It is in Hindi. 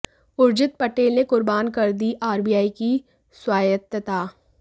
उर्जित पटेल ने कुर्बान कर दी आरबीआई की स्वायत्तता